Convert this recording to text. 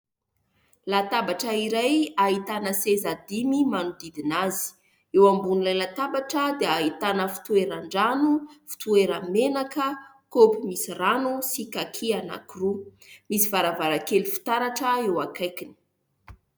Latabatra iray ahitana seza dimy manodidina azy. eo ambon'ilay latabatra dia ahitana fitoeran-drano, fitoerana menaka, kopy misy rano sy kaki anak'iroa. Misy varavarakely fitaratra eo ankaikiny.